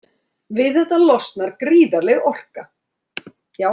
Við þetta losnar gríðarleg orka.